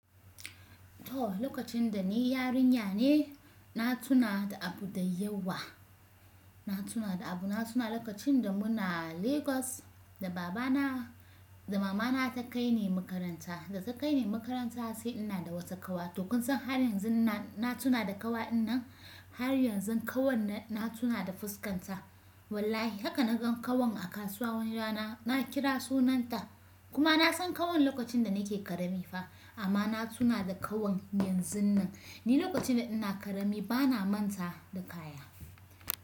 To lokacin da ni yarinya ne, na tuna da abu da yawa. Na tuna da abu, na tuna lokacin da muna Lagos da baba na, da mama na ta kai ni makaranta. Da ta kai ni makaranta sai ina da wata kawa. To kun san har yanzu na tuna da ƙawa in nan. Har yanzu ƙawar nan na tuna da fuskanta. Wallahi haka na gan ƙawon a kasuwa wani rana, na kira sunanta kuma na san ƙawon lokacin da nake ƙarami fa amma na tuna da ƙawon yanzunnan. Ni lokacin da ina ƙarami bana manta da kaya.